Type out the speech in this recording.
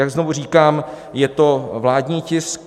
Jak znovu říkám, je to vládní tisk.